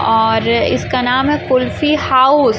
और इसका नाम है कुल्फी हाउस --